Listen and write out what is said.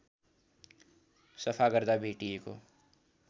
सफा गर्दा भेटिएको